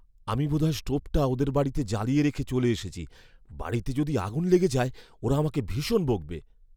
আমি বোধহয় স্টোভটা ওদের বাড়িতে জ্বালিয়ে রেখে চলে এসেছি। বাড়িতে যদি আগুন লেগে যায় ওরা আমাকে ভীষণ বকবে।